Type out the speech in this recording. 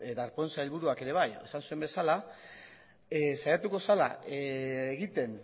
darpón sailburuak ere bai esan zuen bezala saiatu zela egiten